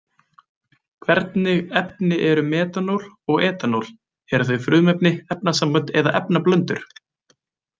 Hvernig efni eru metanól og etanól, eru þau frumefni, efnasambönd eða efnablöndur?